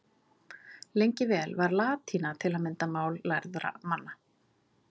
Lengi vel var latína til að mynda mál lærðra manna.